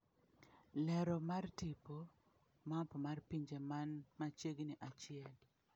Lero mar tipo, Map mar pinje man machiegni achiel.